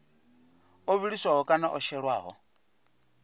o vhiliswaho kana o shelwaho